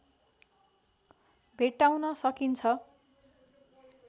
भेट्टाउन सकिन्छ